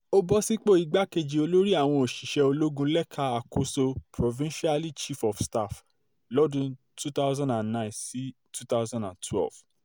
ó bọ́ sípò igbákejì olórí àwọn òṣìṣẹ́ ológun lẹ́ka àkóso provincialy chief of staff lọ́dún two thousand and nine sí two thousand and twelve